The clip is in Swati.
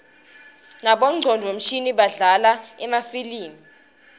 nabongcondvo mshini badlala emafilimi